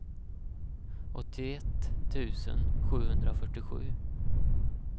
åttioett tusen sjuhundrafyrtiosju